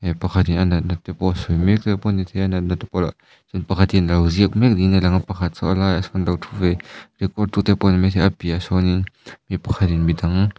mi pakhatin a natna te pawh a sawi mek te pawh a ni thei a a natna te pawh mi pakhatin a lo ziak mek niin a lang a pakhat chu a laiah chuan a lo ṭhu ve report tu te pawh a ni maithei a piahah sawnin mi pakhatin midang.